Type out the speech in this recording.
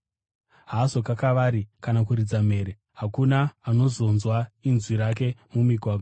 Haazokakavari kana kuridza mhere; hakuna anozonzwa inzwi rake mumigwagwa.